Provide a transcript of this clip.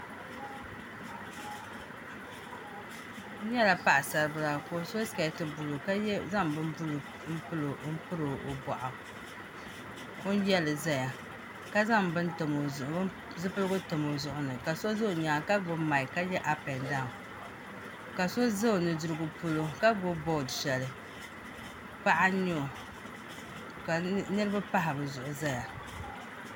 N nyɛla paɣasaribila ka o so sikɛti buluu ka zaŋ bin buluu n piri o boɣu o yɛli ʒɛya ka zaŋ zipiligu tam o zuɣuni ka so ʒɛ o nyaanga ka gbuni maik ka gbubi ap and daawn ka so ʒɛ o nudirigu polo ka gbubi bood shɛli paɣa n nyɛ o ka niraba pahi bi zuɣu ʒɛya